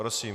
Prosím.